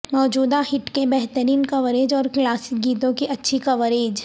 موجودہ ہٹ کے بہترین کوریج اور کلاسک گیتوں کی اچھی کوریج